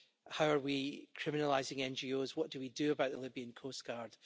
How are we criminalising NGOs, what do we do about the Libyan coastguard?